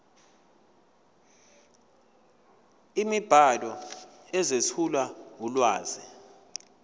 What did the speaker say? imibhalo ezethula ulwazi